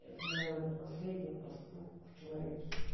это наверное последний поступок в человечестве